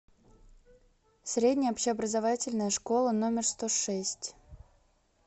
средняя общеобразовательная школа номер сто шесть